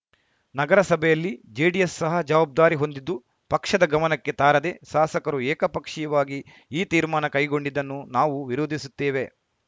ನಗರಸಭೆಯಲ್ಲಿ ಜೆಡಿಎಸ್‌ ಸಹ ಜವಾಬ್ದಾರಿ ಹೊಂದಿದ್ದು ಪಕ್ಷದ ಗಮನಕ್ಕೆ ತಾರದೆ ಶಾಸಕರು ಏಕಪಕ್ಷಿಯವಾಗಿ ಈ ತೀರ್ಮಾನ ಕೈಗೊಂಡಿದ್ದನ್ನು ನಾವು ವಿರೋಧಿಸುತ್ತೇವೆ